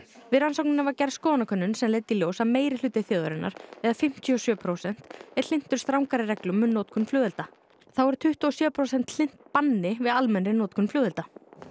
við rannsóknina var gerð skoðanakönnun sem leiddi í ljós að meirihluti þjóðarinnar eða fimmtíu og sjö prósent er hlynntur strangari reglum um notkun flugelda þá eru tuttugu og sjö prósent hlynnt banni við almennri notkun flugelda